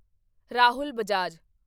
Rahul Bajaj